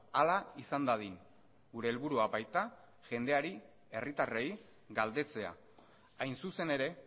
hala izan dadin gure helburua baita jendeari herritarrei galdetzea hain zuzen ere